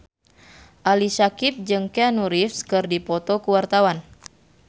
Ali Syakieb jeung Keanu Reeves keur dipoto ku wartawan